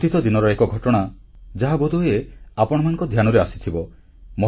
ଅତୀତ ଦିନର ଏକ ଘଟଣା ଯାହା ବୋଧହୁଏ ଆପଣମାନଙ୍କ ଧ୍ୟାନରେ ଆସିଥିବ